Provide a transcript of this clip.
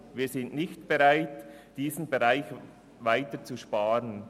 Wir sind nicht bereit, in diesem Bereich weiter zu sparen.